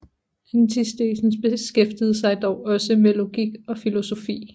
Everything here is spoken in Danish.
Antisthenes beskæftigede sig dog også med logik og naturfilosofi